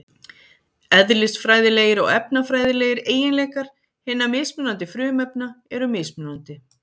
Eðlisfræðilegir og efnafræðilegir eiginleikar hinna mismunandi frumefna eru mismunandi.